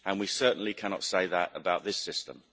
We certainly cannot say that about this system.